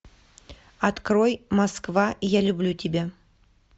открой москва я люблю тебя